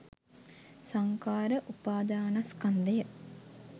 සංඛාර උපාදානස්කන්ධය